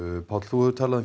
Páll þú hefur talað um